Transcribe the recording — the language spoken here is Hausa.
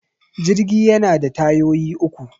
Jirgi yana da tayoyi uku